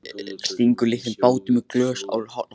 Stingur litlum bátum í glös á eldhúsborðinu.